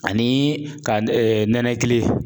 Ani ka nɛnɛkili